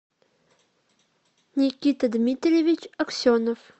никита дмитриевич аксенов